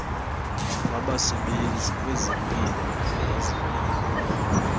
wabasebenzi kwezempilo uveza